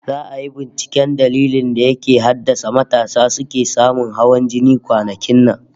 Za'a yi binciken dalilin da ke haddasa matasa suke samun hawan jini kwanakin nan